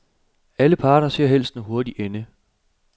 Alle parter ser helst en hurtig ende.